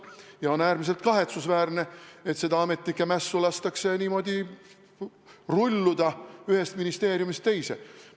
Ja on äärmiselt kahetsusväärne, et sellel ametnike mässul lastakse niimoodi ühest ministeeriumist teise rulluda.